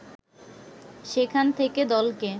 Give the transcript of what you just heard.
সেখান থেকে দলকে